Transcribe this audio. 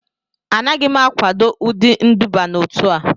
Anaghị m akwado ụdị nduba n'otu a